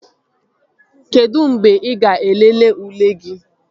Kedụ mgbe ị ga-elele ule gị?